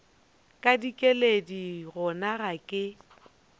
ka dikeledi gona ga ke